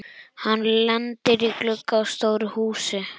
Hann lendir í glugga á stóru húsi.